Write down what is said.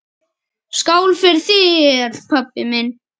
Skál fyrir þér, pabbi minn.